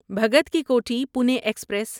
Bhagat Ki Kothi Pune express